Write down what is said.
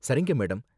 சரிங்க, மேடம்.